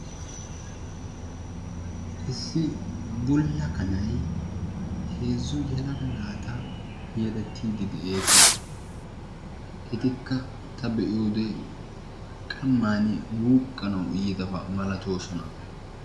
Issi bulla kanay heezzu yelaga naata yeddettiidi de'ees. Etikka ta be'iyode qamman wuqqanawu yiidabaa malatoosona.